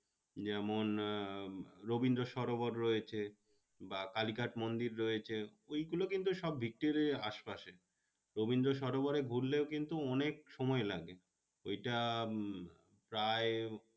যেমন আহ রবীন্দ্র সরোবর রয়েছে বা কালীঘাট মন্দির রয়েছে। ওইগুলো কিন্তু সব ভিক্টোরিয়ার আশ পাশে রবীন্দ্র সরোবরে ঘুরলেও কিন্তু অনেক সময় লাগে ওইটা উম প্রায়